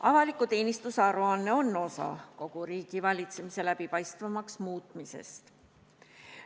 Avaliku teenistuse aruanne on osa kogu riigivalitsemise läbipaistvamaks muutmisest.